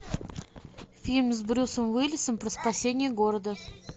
фильм с брюсом уиллисом про спасение города